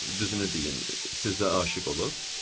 Düzünü deyin, sizə aşiq olub?